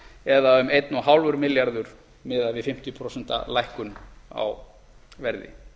eða eins og hálfur milljarður miðað við fimmtíu prósent lækkun á verði